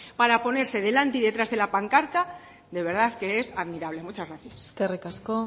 para ponerse delante y detrás de la pancarta de verdad que es admirable muchas gracias eskerrik asko